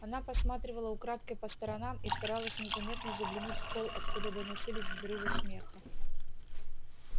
она посматривала украдкой по сторонам и старалась незаметно заглянуть в холл откуда доносились взрывы смеха